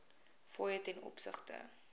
fooie ten opsigte